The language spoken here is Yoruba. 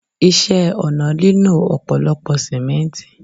Ìṣe ọ̀nà nílò ọ̀pọ̀lọpọ̀ Símẹ́ǹtì.